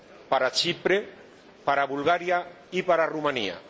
para Chipre, para Bulgaria y para Rumanía.